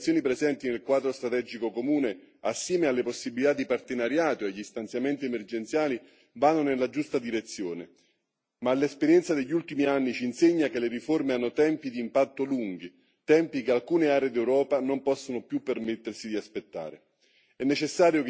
Sicuramente le indicazioni presenti nel Quadro strategico comune, assieme alle possibilità di partenariato e agli stanziamenti emergenziali, vanno nella giusta direzione, ma l'esperienza degli ultimi anni ci insegna che le riforme hanno tempi di impatto lunghi, tempi che alcune aree d'Europa non possono più permettersi di aspettare.